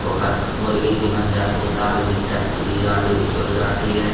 Cooker पे मुर्गे भी बन जाते हैं दाल भी सब्जी भी आलू भी चूर जाते हैं।